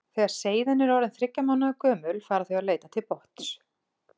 Þegar seiðin eru orðin þriggja mánaða gömul fara þau að leita til botns.